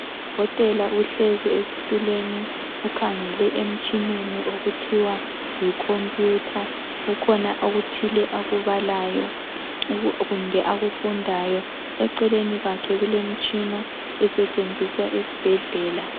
Udokotela uhlezi esituleni ukhangele emtshineni okuthiwa yikhomputha kukhona okuthile akubalayo kumbe akufundayo eceleni kwakhe kulemitshina esetshenziswa esibhedlela.